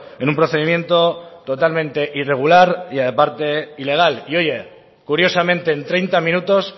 en un procedimiento totalmente irregular y aparte ilegal y oye curiosamente en treinta minutos